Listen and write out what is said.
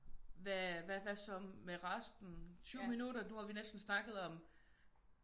Hva hvad så med resten? 20 minutter nu har vi næsten snakket om